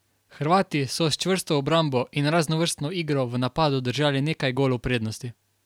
Hrvati so s čvrsto obrambo in raznovrstno igro v napadu držali nekaj golov prednosti.